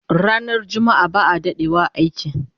Ranar jumma'a ba'a dadewa a aiki